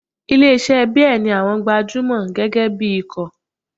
Ilé iṣẹ́ beer ní àwọn gbajúmọ̀ gẹ́gẹ́ bí ikọ̀.